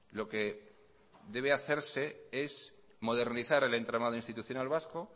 lo que debe hacerse es modernizar el entramado institucional vasco